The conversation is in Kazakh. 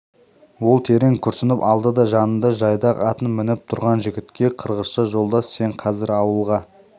ол терең күрсініп алды да жанында жайдақ атын мініп тұрған жігітке қырғызша жолдас сен қазір ауылға